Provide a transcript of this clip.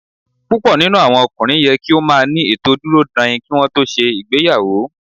Púpọ̀ nínú àwọn ọkùnrin yẹ kí ó máa ní ètò dúró dain kí wọn tó ṣe ìgbéyàwó.